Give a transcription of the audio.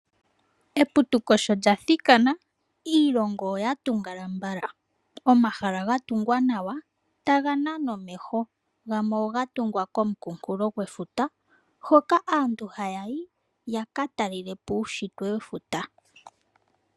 Eputuko sho lyathikana iilongo oya tungala. Omahala ga tungwa nawa taga nana omeho gamwe oha tungwa komonkulofuta hoka aantu hayayi yaka talelepo uushitwe wefuta.